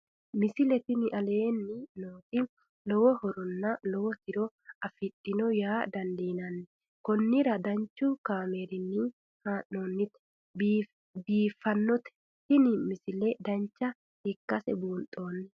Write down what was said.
misile tini aleenni nooti lowo horonna lowo tiro afidhinote yaa dandiinanni konnira danchu kaameerinni haa'noonnite biiffannote tini misile dancha ikkase buunxanni